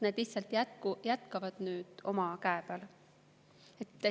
Nad lihtsalt jätkavad nüüd omal käel.